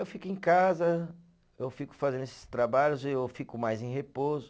Eu fico em casa, eu fico fazendo esses trabalhos, eu fico mais em repouso.